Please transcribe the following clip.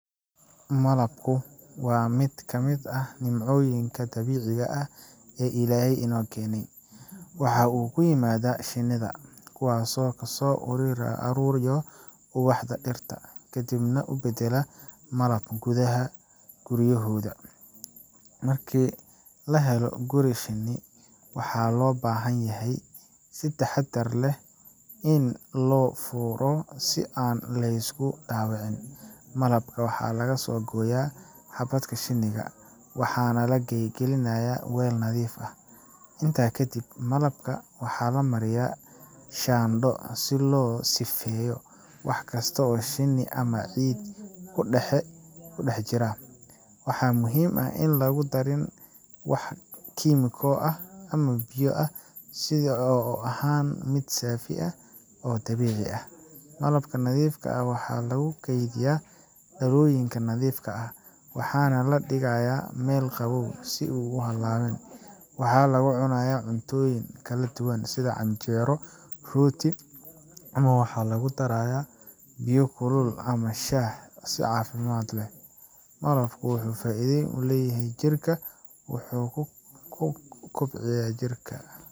Malabku waa mid ka mid ah nimcooyinka dabiiciga ah ee Ilaahay inoo keenay. Waxa uu ka yimaadaa shinnida, kuwaasoo kasoo ururiya ubaxda dhirta, kadibna u beddela malab gudaha guryahooda. Marka la helo guri shinni, waxaa loo baahan yahay in si taxadar leh loo furo si aan la’isku dhaawicin. Malabka waxaa laga soo gooyaa xabagta shinnida, waxaana la gelinayaa weel nadiif ah. Intaa kadib, malabka waxaa la mariyaa shaandho si looga sifeeyo wax kasta oo shinni ama ciid ah ku dhex jiri kara. Waxaa muhiim ah in aan lagu darin wax kiimiko ah ama biyo, si uu u ahaado mid saafi ah oo dabiici ah. Malabka nadiifka ah waxaa lagu kaydiyaa dhalooyin nadiif ah, waxaana la dhigayaa meel qabow ama hadh ah. Waxaa lagu cunaa cuntooyin kala duwan sida canjeero, rooti, ama waxaa lagu daraa biyo kulul ama shaah si caafimaad loo helo. Malabku wuxuu faa’iido u leeyahay jirka, wuxuu kobciyaa jirka.